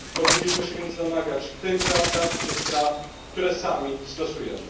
Powinniśmy się więc domagać tych zasad, tych praw, które sami stosujemy.